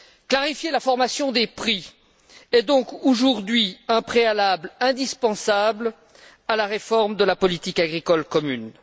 Clarifier la formation des prix est donc aujourd'hui un préalable indispensable à la réforme de la politique agricole commune.